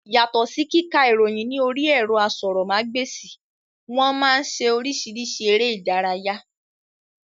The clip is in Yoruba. Yàtọ̀ sí kíka ìròyìn ní orí ẹ̀rọ asọ̀rọ̀ ma gba èsì, wọ́n máa ń ṣe oríṣìíríṣìí eré ìdárayá